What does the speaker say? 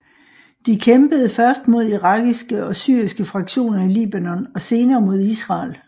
De kæmpede først mod irakiske og syriske fraktioner i Libanon og senere mod Israel